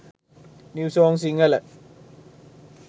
new song sinhala